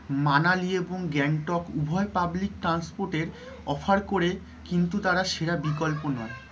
মানালি এবং গ্যাংটক উভয় public transport এর offer করে কিন্তু তারা সেরা বিকল্প নয়।